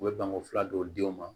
U bɛ banko fila dɔw diw ma